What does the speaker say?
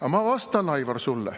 Aga ma vastan, Aivar, sulle.